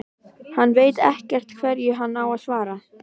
Hann veit ekkert hverju hann á að svara.